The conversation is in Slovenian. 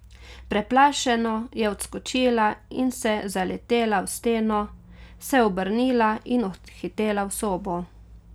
Preplašeno je odskočila in se zaletela v steno, se obrnila in odhitela v sobo.